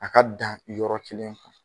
A ka dan yɔrɔ kelen